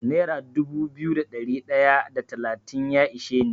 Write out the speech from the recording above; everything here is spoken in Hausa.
Nera dubu biyu da ɗari ɗaya da talatin ya ishe ni.